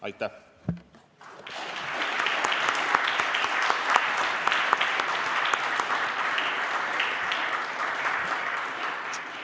Aitäh!